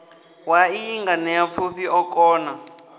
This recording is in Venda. wa iyi nganeapfufhi o kona